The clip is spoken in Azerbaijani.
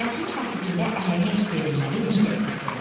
Mətnin tərtibində əhəmiyyət verilməli digər məsələlər.